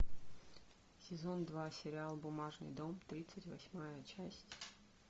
сезон два сериал бумажный дом тридцать восьмая часть